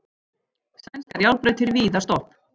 Sænskar járnbrautir víða stopp